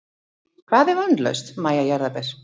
Hvað er vonlaust Mæja jarðaber?